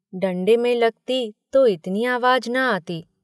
डण्डे में लगती तो इतनी आवाज न आती।